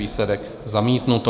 Výsledek: zamítnuto.